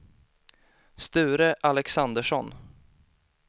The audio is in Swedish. Sture Alexandersson